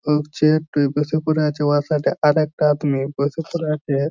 নড়ছে-এ একটু এই বসে পরে আছে ওর সাথে আর একটা আদমি বসে পরে আছে-এ।